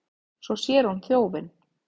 Svo sér hún þjófinn.